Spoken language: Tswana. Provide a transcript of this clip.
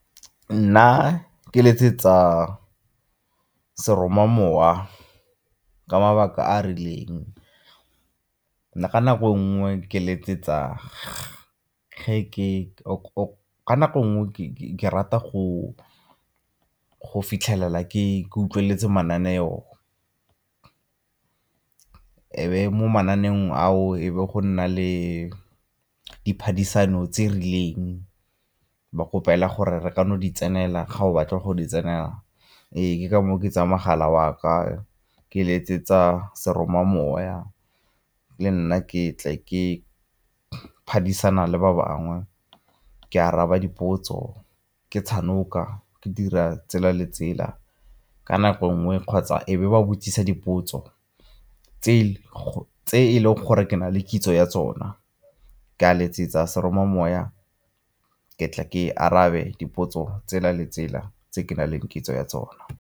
Nna ke letsetsa seromamowa ka mabaka a a rileng, ka nako nngwe ke rata go fitlhelela ke utlweletse mananeo. E be mo mananeng ao e be go nna le diphadisano tse rileng ba kgopela gore re kana o di tsenela ga o batla go di tsenela ee, ke ka moo ke tsa mogala wa ka ke letsetsa seromamoya le nna ke tle ke phadisana le ba bangwe ke araba dipotso, ke , ke dira tsela le tsela. Ka nako nngwe kgotsa e be ba botsisa dipotso tse e leng gore ke na le kitso ya tsona, ke a letsetsa seromamoya ke tle ke arabe dipotso tsela le tsela tse ke nang le kitso ya tsona.